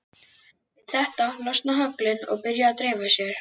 Við þetta losna höglin og byrja að dreifa sér.